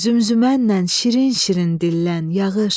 Zümzümmənlə şirin-şirin dillən, yağış.